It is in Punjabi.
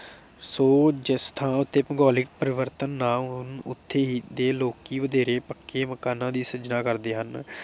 ਸੋ ਜਿਸ ਥਾਂ ਉਤੇ ਭੂਗੋਲਿਕ ਪਰਿਵਰਤਨ ਨਾ ਹੋਣ ਉਥੇ ਹੀ ਦੇ ਲੋਕੀ ਵਧੇਰੇ ਪੱਕੇ ਮਕਾਨਾਂ ਦੀ ਸਿਰਜਣਾ ਕਰਦੇ ਹਨ।